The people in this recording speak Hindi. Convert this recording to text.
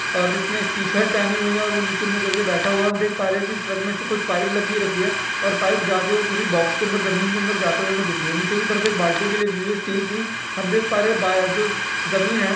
अ जिसने इस टीशर्ट पहनी हुई है और वो नीचे मुँह कर के बैठा हुआ है औ हम देख पा रहे है की उस ट्रक में से कुछ पाइप लगी रखी है और पाईप जा के वो किसी बक्स के अन्दर ज़मीन के अन्दर जाते हुए हमें दिख रही है नीचे की तरफ एक बाल्टी भी लगी हुई है स्टील की हम देख पा रहे है बायां जो ज़मीन है --